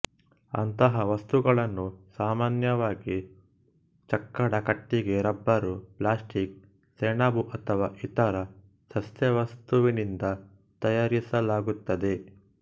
ಅಂತಹ ವಸ್ತುಗಳನ್ನು ಸಾಮಾನ್ಯವಾಗಿ ಚಕ್ಕಡ ಕಟ್ಟಿಗೆ ರಬ್ಬರು ಪ್ಲಾಸ್ಟಿಕ್ ಸೆಣಬು ಅಥವಾ ಇತರ ಸಸ್ಯವಸ್ತುವಿನಿಂದ ತಯಾರಿಸಲಾಗುತ್ತದೆ